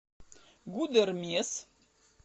гудермес